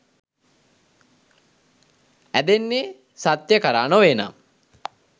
ඇදෙන්නේ සත්‍යය කරා නොවේනම්?